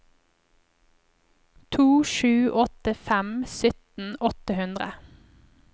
to sju åtte fem sytten åtte hundre